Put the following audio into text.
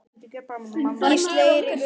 Gísli Eiríkur Helgi.